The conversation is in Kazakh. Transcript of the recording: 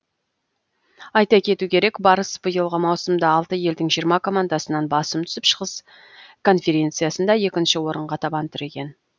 айта кету керек барыс биылғы маусымда алты елдің жиырма командасынан басым түсіп шығыс конференциясында екінші орынға табан тіреген